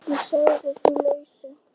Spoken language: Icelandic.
Ég sagði því lausu.